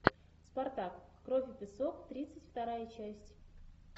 спартак кровь и песок тридцать вторая часть